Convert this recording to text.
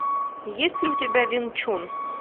есть ли у тебя вин чун